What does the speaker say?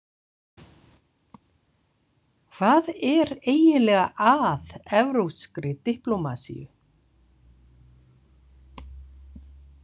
Hvað er eiginlega að evrópskri diplómasíu?